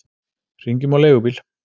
Hringjum á leigubíl!